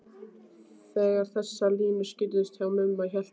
Þegar þessar línur skýrðust hjá Mumma hélt ég að